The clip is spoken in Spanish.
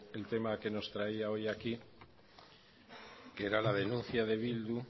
el tema que nos traía hoy aquí que era la denuncia de bildu